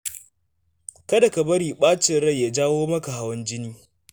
Kada ka bari ɓacin rai ya jawo maka hawan jini.